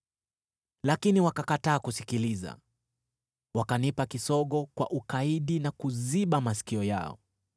“Lakini wakakataa kusikiliza, wakanipa kisogo kwa ukaidi na kuziba masikio yao.